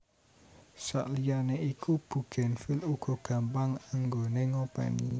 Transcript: Sakliyane iku bugenvil uga gampang anggoné ngopèni